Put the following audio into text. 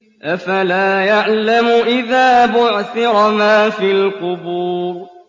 ۞ أَفَلَا يَعْلَمُ إِذَا بُعْثِرَ مَا فِي الْقُبُورِ